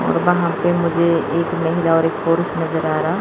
और वहां पे मुझे एक महिला और एक पुरुष नजर आ रहा--